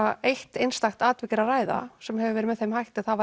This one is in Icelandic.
eitt einstakt atvik er að ræða sem hafi verið með þeim hætti að það